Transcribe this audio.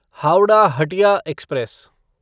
Howrah Hatia express